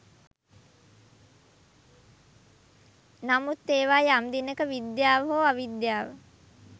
නමුත් ඒවා යම් දිනක විද්‍යාව හෝ අවිද්‍යාව